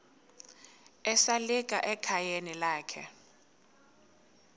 esalika ekhayeni lakhe